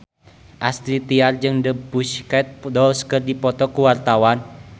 Astrid Tiar jeung The Pussycat Dolls keur dipoto ku wartawan